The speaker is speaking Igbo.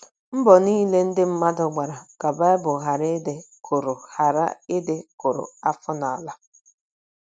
Mbọ niile ndị mmadụ gbara ka Baịbụl ghara ịdị kụrụ ghara ịdị kụrụ afọ n’ala.